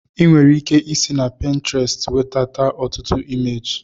Ị nwere ike isi na Pintrestị wedata ọtụtụ imeji